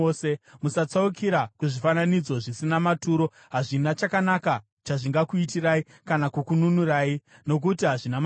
Musatsaukira kuzvifananidzo zvisina maturo. Hazvina chakanaka chazvingakuitirai, kana kukununurai, nokuti hazvina maturo.